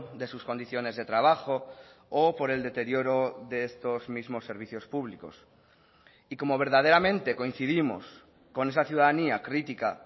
de sus condiciones de trabajo o por el deterioro de estos mismos servicios públicos y como verdaderamente coincidimos con esa ciudadanía crítica